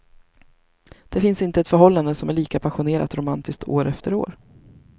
Det finns inte ett förhållande som är lika passionerat romantiskt år efter år.